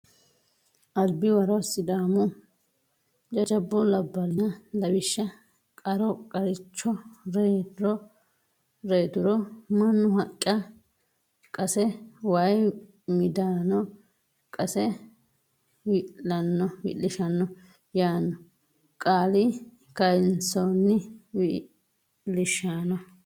Albiwaro Sidaamu jajjabbu labballinna Lawishsha qaro qaricho reyro reyturo mannu haqqa qase woy midaano qase wi Wi lishsha yaanno qaali kayinsoonni wi lishshanno.